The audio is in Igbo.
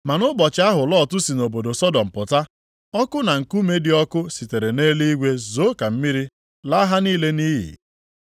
Ma nʼụbọchị ahụ Lọt si nʼobodo Sọdọm pụta, ọkụ na nkume dị ọkụ sitere nʼeluigwe zoo ka mmiri, laa ha niile nʼiyi.